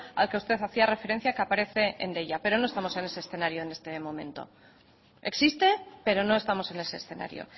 al que usted hacía referencia que aparece en deia pero no estamos en ese escenario en este momento existe pero no estamos en ese escenario